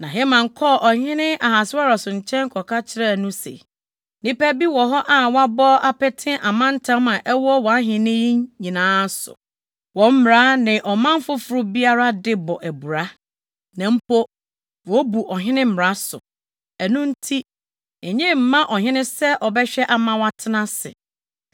Na Haman kɔɔ ɔhene Ahasweros nkyɛn kɔka kyerɛɛ no se, “Nnipa bi wɔ hɔ a wɔabɔ apete amantam a ɛwɔ wʼahenni yi nyinaa so. Wɔn mmara ne ɔman foforo biara de bɔ abira, na mpo, wobu ɔhene mmara so. Ɛno nti, enye mma ɔhene sɛ ɔbɛhwɛ ama wɔatena ase.